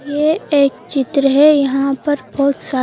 ये एक चित्र है यहाँ पर बहुत सा--